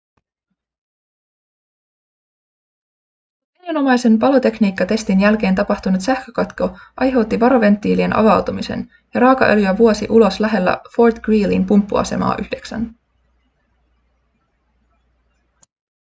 rutiininomaisen palotekniikkatestin jälkeen tapahtunut sähkökatko aiheutti varoventtiilien avautumisen ja raakaöljyä vuosi ulos lähellä fort greelyn pumppuasemaa 9